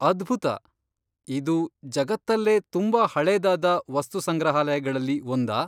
ಅದ್ಭುತ! ಇದು ಜಗತ್ತಲ್ಲೇ ತುಂಬಾ ಹಳೇದಾದ ವಸ್ತು ಸಂಗ್ರಹಾಲಯಗಳಲ್ಲಿ ಒಂದಾ?